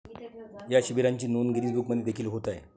या शिबिरांची नोंद गिनीज बुकमध्ये देखील होत आहे